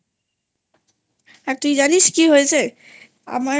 আর তুই জানিস কি হয়েছে আমার?